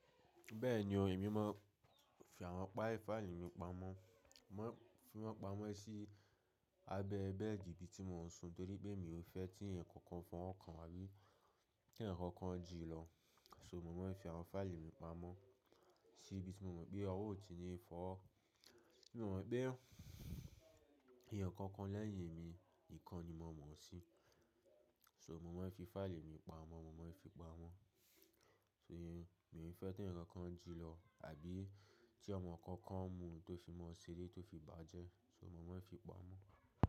Bẹ́ẹ̀ni o, èmi máa ń fi àwọn páì fáìlì mi pamọ́, máa ń fi wọ́n pamọ́ sí abẹ́ bẹ́ẹ̀dì ibi tí mò ń sùn torí pé mi ò fẹ́ tí ǹkan kan fọ́n ọ́ kan àbí tí ǹkan kan jii lọ. So mò máa ń fi àwọn fáìlì mi pamọ́ sí ibi tí mò mọ̀ pé ọwọ́ ó ti ni fọ́, bí mo mọ̀ pé èèyàn kankan lẹ́yìn emi nìkan ni mo mọ̀ sí. So mò máa ń fi fáìlì mi pamọ́, mò máa ń fi pamọ́. So mi ò fẹ́ tí ǹkan kan jù lọ àbí tí ọmọ kankan mú tó fi mọ́ ṣeré tó fi bàjẹ́, so mò máa ń fi pamọ́.